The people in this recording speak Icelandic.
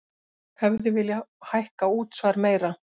Hefði viljað hækka útsvar meira